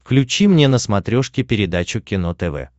включи мне на смотрешке передачу кино тв